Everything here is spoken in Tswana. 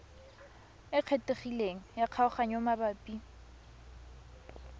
e kgethegileng ya kgaoganyo mabapi